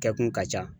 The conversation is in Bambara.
Kɛkun ka ca